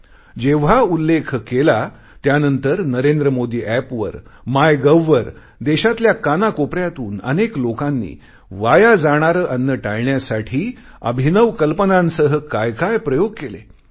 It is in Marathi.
आणि जेव्हा उल्लेख केला त्यांनंतर NarendraModiApp वर माय गव्ह वर देशातल्या कानाकोपऱ्यातून अनेक लोकांनी वाया जाणारे अन्न टाळण्यासाठी अभिनव कल्पनांसह कायकाय प्रयोग केले